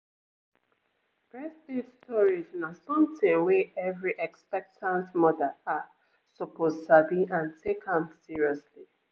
we been get community community workshop for breast milk storage and e been really dey helpful